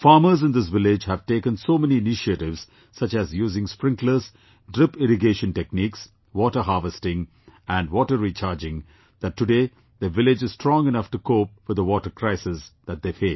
Farmers in this village have taken so many initiatives such as using sprinklers, drip irrigation techniques, water harvesting and water recharging, that today their village is strong enough to cope with the water crisis that they face